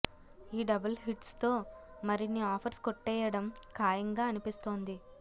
ఈ double hits తో మరిన్ని ఆఫర్స్ కొట్టేయడం ఖాయంగా అనిపిస్తోంది